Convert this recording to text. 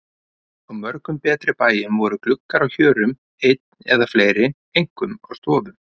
Á mörgum betri bæjum voru gluggar á hjörum einn eða fleiri, einkum á stofum.